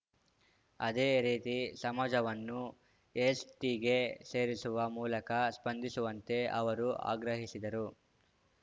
ಅದೇ ರೀತಿ ಸಮಾಜವನ್ನು ಎಸ್‌ಟಿಗೆ ಸೇರಿಸುವ ಮೂಲಕ ಸ್ಪಂದಿಸುವಂತೆ ಅವರು ಆಗ್ರಹಿಸಿದರು